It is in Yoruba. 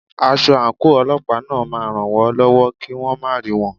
Aṣọ àǹkóò Ọlọ́pàá náà ma ràn wón lọ́wọ́ kí wón má rí wọn.